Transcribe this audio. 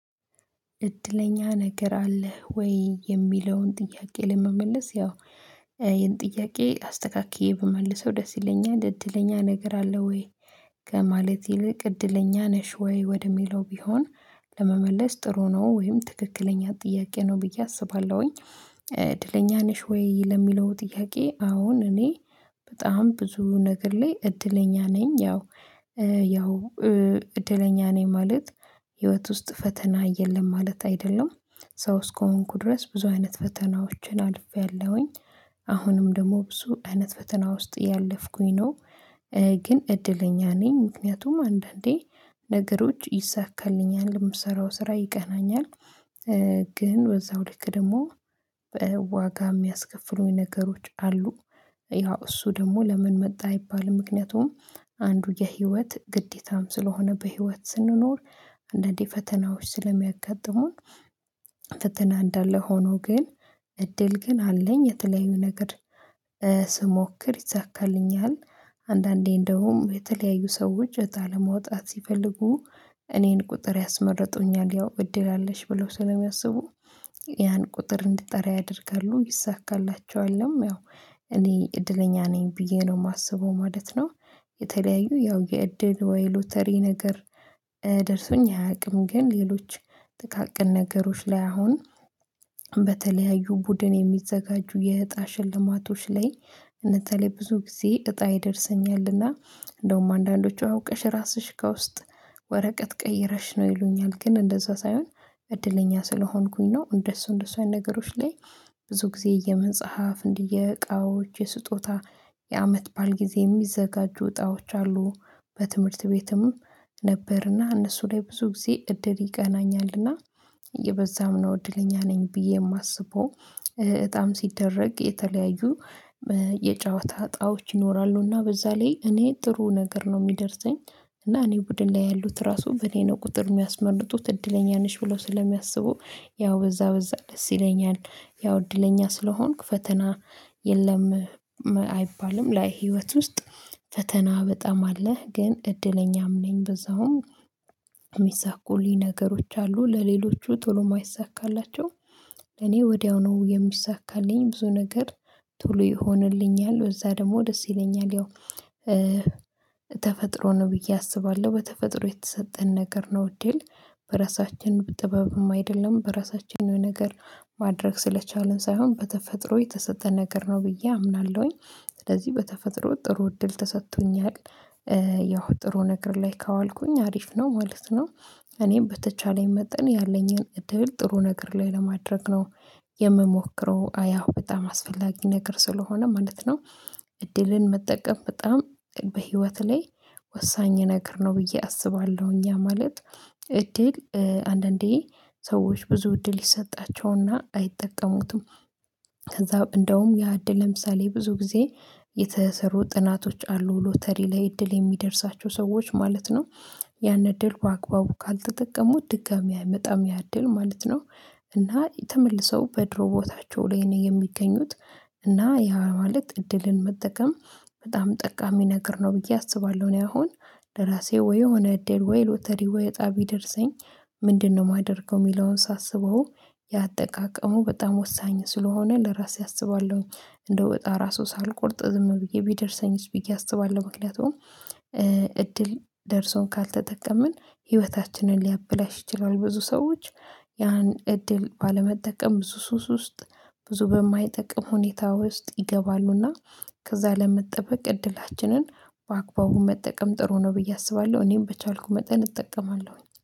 እድለኛ ነገር አለህ ወይ የሚለውን ጥያቄ ለመመለስ ያው ይሄን ጥያቄ አስተካክዬ ብመልሰው ደስ ይለኛል እድለኛ ነገር አለህ ወይ? ከማለት ይልቅ እድለኛ ነሽ ወይ ወደ ሚለው ቢሆን ለመመለስ ጥሩ ነው ወይም ትክክለኛ ጥያቄ ነው ብዬ አስባለሁኝ። እድለኛ ነሽ ወይ? ለሚለው ጥያቄ አዎን እኔ በጣም ብዙ ነገር ላይ እድለኛ ነኝ ያው ያው እድለኛ ነኝ ማለት ህይወት ውስጥ ፈተና የለም ማለት አይደለም። ሰው እስከሆንኩ ድረስ ብዙ አይነት ፈተናዎችን አልፌያለሁኝ አሁንም ደግሞ ብዙ አይነት ፈተና ውስጥ እያለፍኩኝ ነው። ግን እድለኛ ነኝ ምክንያቱም አንዳንዴ ነገሮች ይሰካልኛል የምሰራው ስራ ይቀናኛል። ግን በዛው ልክ ደግሞ ዋጋ የሚያስከፍሉኝ ነገሮች አሉ። ያው እሱ ደግሞ ለምን መጣ አይባልም ምክንያቱም አንዱ የህይወት ግዴታም ስለሆነ በህይወት ስንኖር አንዳንዴ ፈተናዎች ስለሚያጋጥሙን ፈተና እንዳለ ሆኖ ግን እድል ግን አለኝ የተለዩ ነገር ስሞክር ይሳካልኛል። አንዳንዴ እንደውም የተለያዩ ሰዎች እጣ ለማውጣት ሲፈልጉ እኔን ቁጥር ያስመረጡኛል ያው እድል አለሽ ብለው ስለሚያስቡ ያን ቁጥር እንድጠራ ያደርጋሉ ይሳካላቸዋልም ያው እኔ እድለኛ ነኝ ብዬ ነው የማስበው ማለት ነው። የተለያዩ ያው የእድል ወይ ሎተሪ ነገር ደርሶኝ አያውቅም። ግን ሌሎች ጥቃቅን ነገሮች ላይ አሁን በተለያዩ ቡድን የሚዘጋጁ የእጣ ሽልማቶች ላይ በተለይ ብዙ ጊዜ እጣ ይደርሰኛል። እና እንደውም አንዳንዶቹ አውቀሽ ራስሽ ከውስጥ ወረቀት ቀይረሽ ነው ይሉኛል ግን እንደዛ ሳይሆን እድለኛ ስለሆንኩኝ ነው። እንደሱ እንደሱ አይነት ነገሮች ላይ ብዙ ጊዜ የመጽሐፍ እንዲህ የእቃዎች የስጦታ የአመት በዓል ጊዜ የሚዘጋጁ እጣዎች አሉ። በትምህርት ቤትም ነበር እና እነሱ ላይ ብዙ ጊዜ እድል ይቀናኛል እና በዛም ነው እድለኛ ነኝ ብዬ የማስበው። እጣም ሲደረግ የተለያዩ የጨዋታ እጣዎች ይኖራሉ እና በዛ ላይ እኔ ጥሩ ነገር ነው የሚደርሰኝ እና እኔ ቡድን ላይ ያሉት ራሱ በእኔ ነው ቁጥር የሚያስመርጡት እድለኛ ነሽ ብለው ስለሚያስቡ ያው በዛ በዛ ደስ ይለኛል። ያው እድለኛ ስለሆንኩ ፈተና የለም አይባልም ላይ ህይወት ውስጥ ፈተና በጣም አለ ግን እድለኛም ነኝ በዛውም የሚሳኩልኝ ነገሮች አሉ ለሌሎቹ ቶሎ የማይሳካላቸው እኔ ወዲያው ነው የሚሳካልኝ ብዙ ነገር ቶሎ ይሆንልኛል በዛ ደግሞ ደስ ይለኛል። ያው ተፈጥሮ ነው ብዬ አስባለሁ በተፈጥሮ የተሰጠን ነገር ነው እድል በራሳችን ጥበብም አይደለም በራሳችን የሆነ ነገር ማድረግ ስለቻልን ሳይሆን በተፈጥሮ የተሰጠ ነገር ነው ብዬ አምናለሁኝ ስለዚህ በተፈጥሮ ጥሩ እድል ተሰጥቶኛል። ያው ጥሩ ነገር ላይ ካዋልኩኝ አሪፍ ነው ማለት ነው። እኔም በተቻለኝ መጠን ያለኝን እድል ጥሩ ነገር ላይ ለማድረግ ነው የምሞክረው አያው በጣም አስፈላጊ ነገር ስለሆነ ማለት ነው። እድልን መጠቀም በጣም በህይወት ላይ ወሳኝ ነገር ነው ብዬ አስባለሁ። እኛ ማለት እድል አንዳንዴ ሰዎች ብዙ እድል ይሰጣቸው እና አይጠቀሙትም። ከዛ እንደውም ያ እድል ለምሳሌ ብዙ ጊዜ የተሰሩ ጥናቶች አሉ ሎተሪ ላይ እድል የሚደርሳቸው ሰዎች ማለት ነው። ያን እድል በአግባቡ ካልተጠቀሙት ድጋሚ አይመጣም ያ እድል ማለት ነው። እና ተመልስው በድሮ ቦታቸው ላይ ነው የሚገኙት እና ያ ማለት እድልን መጠቀም በጣም ጠቃሚ ነገር ነው ብዬ አስባለሁ። እኔ አሁን ለራሴ ወይ የሆነ እድል ወይ ሎተሪ ወይ እጣ ቢደርሰኝ ምንድነው? የማደርገው የሚለውን ሳስበው ያአጠቃቀሙ በጣም ወሳኝ ስለሆነ ለራሴ አስባለሁኝ እንደው እጣ ራሱ ሳልቆርጥ ዝም ብዬ ቢደርሰኝስ ብዬ አስባለሁ ምክንያቱም እድል ደርሶን ካልተጠቀምን ህይወታችንን ሊያበላሽ ይችላል። ብዙ ሰዎች ያን እድል ባለመጠቀም ብዙ ሱስ ውስጥ ብዙ በማይጠቅም ሁኔታ ውስጥ ይገባሉ እና ከዛ ለመጠበቅ እድላችንን በአግባቡ መጠቀም ጥሩ ነው ብዬ አስባለሁ። እኔም በቻልኩ መጠን እጠቀማለሁኝ